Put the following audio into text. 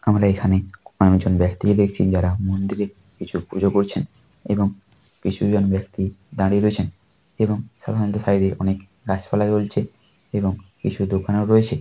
আমরা এখানে অনেক জন ব্যাক্তিকে দেখছি যারা মন্দিরে কিছু পুজো করছেন এবং কিছু জন ব্যাক্তি দাঁড়িয়ে রয়েছেন এবং সাধারনত সাইড -এ অনেক গাছপালা রয়েছে এবং কিছু দোকানও রয়েছে ।